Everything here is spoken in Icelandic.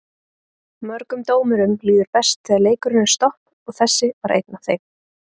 Mörgum dómurum líður best þegar leikurinn er stopp og þessi var einn af þeim.